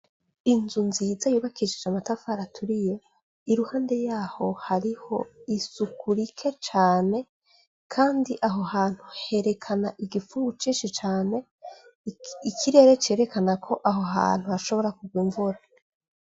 inzu nziza yubakisihije amatafari aturiye iruhande yaho hariho isuku rike cane kandi aho hantu herekana igifungu cinshi cane ikirere cerekana ko imvura ishobora kurwa.